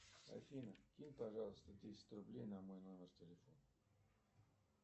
афина кинь пожалуйста десять рублей на мой номер телефона